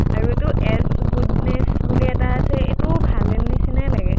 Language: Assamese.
আৰু এইটো এচ গুডনেচ বুলি এটা আছে, এইটোও ভালেই নিচিনাই লাগে।